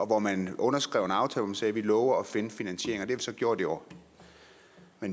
hvor man underskrev en aftale hvor man sagde vi lover at finde finansiering og det så gjort i år